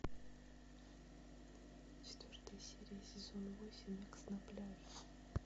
четвертая серия сезон восемь икс на пляже